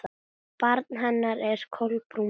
Barn hennar er Kolbrún María.